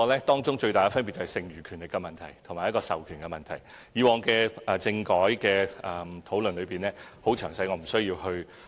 當中最大分別便是剩餘權力及授權問題，以往在政改的討論中已詳細闡述，我便不需要多說。